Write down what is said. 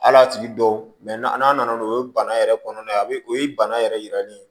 Hal'a tigi dɔw n'a nana n'o ye bana yɛrɛ kɔnɔna a bɛ o ye bana yɛrɛ yiralen ye